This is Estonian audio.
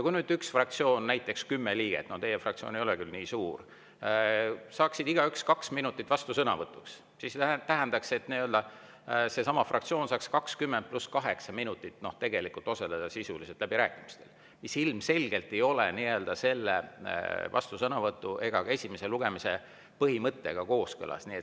Kui ühe fraktsiooni näiteks kümme liiget – teie fraktsioon ei ole küll nii suur – saaksid igaüks kaks minutit vastusõnavõtuks, siis see tähendaks, et seesama fraktsioon saaks sisuliselt 20 + 8 minutit osaleda läbirääkimistel, mis ilmselgelt ei ole vastusõnavõtu ega ka esimese lugemise põhimõttega kooskõlas.